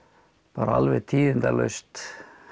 alveg tíðindalaust